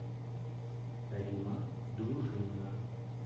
римма дружинина